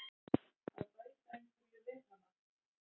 að bæta einhverju við hana.